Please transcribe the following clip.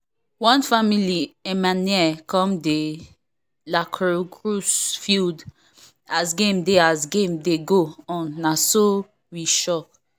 one family emmener come the lacrosse field as game dey as game dey go on na so we shock